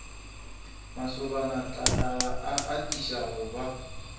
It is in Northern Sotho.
mašobanatlakala a atiša go ba